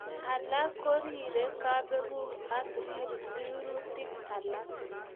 Alak korire kabukek ak rirutik alak.